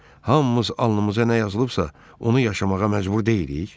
Hamımız alnımıza nə yazılıbsa, onu yaşamağa məcbur deyilik?